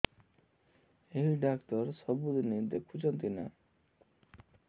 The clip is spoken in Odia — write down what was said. ଏଇ ଡ଼ାକ୍ତର ସବୁଦିନେ ଦେଖୁଛନ୍ତି ନା